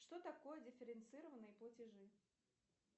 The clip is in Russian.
что такое дифференцированные платежи